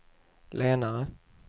lenare